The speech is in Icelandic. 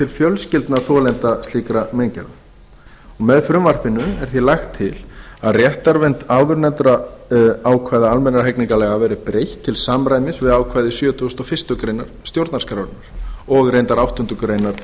fjölskyldna þolenda slíkra meingerða með frumvarpinu er því lagt til að réttarvernd áðurnefndra ákvæða almennra hegningarlaga verði breytt til samræmis við ákvæði sjötugasta og fyrstu grein stjórnarskrárinnar og reyndar áttundu grein